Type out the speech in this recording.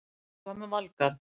En hvað með Valgarð?